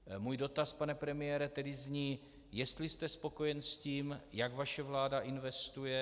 Můj dotaz, pane premiére, tedy zní, jestli jste spokojen s tím, jak vaše vláda investuje.